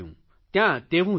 ત્યાં તેવું થયું